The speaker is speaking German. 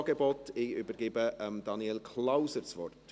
Ich übergebe Daniel Klauser das Wort.